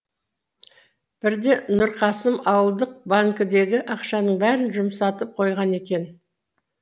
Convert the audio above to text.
бірде нұрқасым ауылдық банкідегі ақшаның бәрін жұмсатып қойған екен